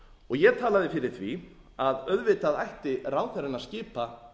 og ég talaði fyrir því að auðvitað ætti ráðherrann að skipa